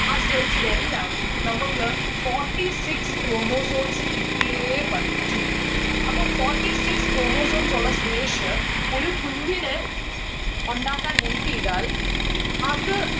ആ cells ൽ എല്ലാം നമ്മുക്ക് forty six chromosomes കിട്ടിയേ പറ്റു അപ്പം forty six chromosomes ഉള്ള സുരേഷ് ഒരു കുഞ്ഞിനെ ഉണ്ടാക്കാൻ help എയ്താൽ അത്